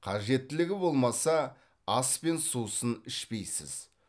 қажеттілігі болмаса ас пен сусын ішпейсіз